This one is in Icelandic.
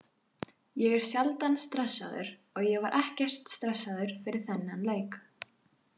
Ég er sjaldan stressaður og ég var ekkert stressaður fyrir þennan leik.